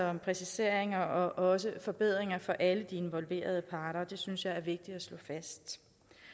om præciseringer og også forbedringer for alle de involverede parter og det synes jeg er vigtigt at slå fast